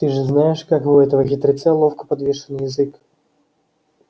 ты же знаешь как у этого хитреца ловко подвешен язык